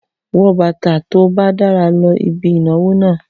Wọ bàtà tó bá dára lọ ibi ìnáwó náà!